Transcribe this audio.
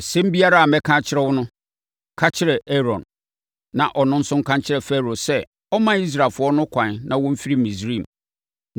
Asɛm biara a mɛka akyerɛ wo no, ka kyerɛ Aaron, na ɔno nso nka nkyerɛ Farao sɛ ɔmma Israelfoɔ no ɛkwan na wɔmfiri Misraim.